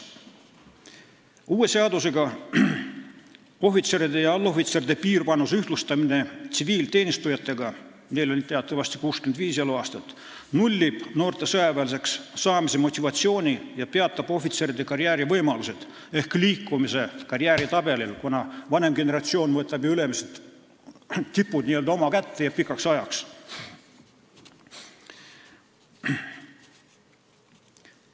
Uues seaduses ettenähtud ohvitseride ja allohvitseride piirvanuse ühtlustamine tsiviilteenistujate piirvanusega, mis on teatavasti 65 eluaastat, nullib noorte sõjaväelaseks saamise motivatsiooni ja peatab ohvitseride karjäärivõimalused ehk liikumise karjääriredelil, kuna vanem generatsioon võtab ju tipud n-ö oma kätte ja pikaks ajaks.